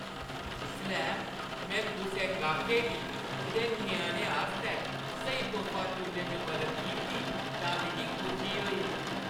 जिसलै में कुसै गाह्‌‌कै गी उंʼदे ञ्याणे आस्तै स्हेई तोह्फा चुनने च मदद कीती तां मिगी खुशी होई।